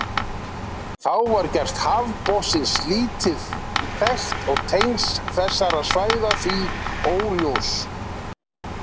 Þá var gerð hafsbotnsins lítt þekkt og tengsl þessara svæða því óljós.